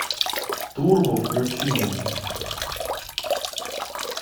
турбо включи мне